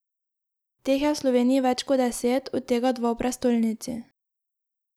Teh je v Sloveniji več kot deset, od tega dva v prestolnici.